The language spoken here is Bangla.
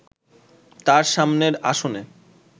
তার সামনের আসনে